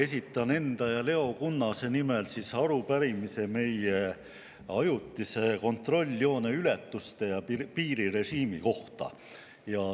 Esitan enda ja Leo Kunnase nimel arupärimise meie ajutise kontrolljoone ületuste ja piirirežiimi kohta.